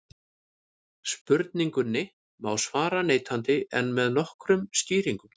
Spurningunni má svara neitandi en með nokkrum skýringum.